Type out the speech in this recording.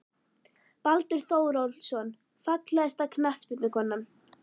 Baldur Þórólfsson Fallegasta knattspyrnukonan?